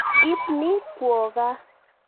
Ip ni kwo kaa.